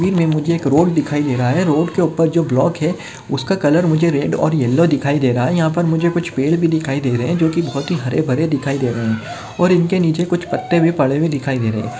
तस्वीर मे मुझे एक रोड दिखाई दे रहा है रोड के उपर जो ब्लॉक है उसका कलर मुझे रेड और येलो दिखाई दे रहा है यहा पर मुझे कुछ पेड़ भी दिखाई दे रहे है जो कि बहुत ही हरे भरे दिखाई दे रहे और इनके नीचे कुछ पत्ते भी पड़े हुए दिखाई दे रहे है।